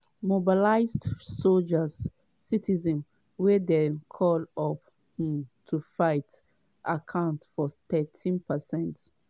mobilised soldiers - citizens wey dem call up um to fight - account for 13%.